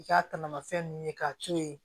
I ka tamafɛn ninnu ye k'a to yen